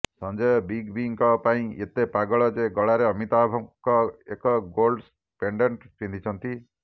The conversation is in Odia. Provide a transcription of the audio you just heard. ସଞ୍ଜୟ ବିଗ୍ ବିଙ୍କ ପାଇଁ ଏତେ ପାଗଳ ଯେ ଗଳାରେ ଅମିତାଭଙ୍କ ଏକ ଗୋଲ୍ଡ ପେଣ୍ଡେଣ୍ଟ ପିନ୍ଧିଛନ୍ତି